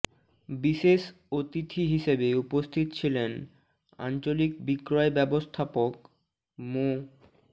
বিশেষ অতিথি হিসেবে উপস্থিত ছিলেন আঞ্চলিক বিক্রয় ব্যবস্থাপক মো